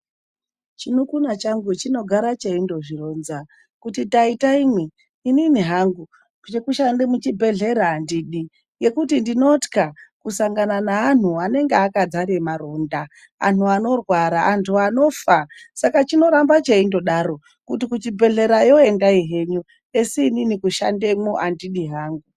Chimunun'una changu chinogara cheindozvironza kuti taita imwi, inini hangu zvekushande muchibhedhlera andidi, ngekuti ndinotya kusangana neantu anenge akadzara maronda, antu anorwara, antu anofa .Saka chinoramba cheindodaro kuti kuchibhedhlerayo endai zvenyu esi inini kushandamo andidi hangu.